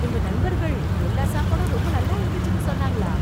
உங்க நண்பர்கள், எல்லா சாப்பாடும் ரொம்ப நல்லா இருந்துச்சுன்னு சொன்னாங்களா...